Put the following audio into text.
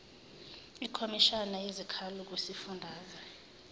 ikhomishana yezikhalo kwisifundazwe